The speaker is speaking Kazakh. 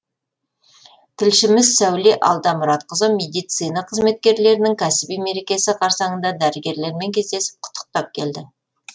тілшіміз сәуле алдамұратқызы медицина қызметкерлерінің кәсіби мерекесі қарсаңында дәрігерлермен кездесіп құттықтап келді